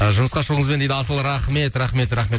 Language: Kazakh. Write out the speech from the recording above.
ы жұмысқа шығуыңызбен дейді асыл рахмет рахмет рахмет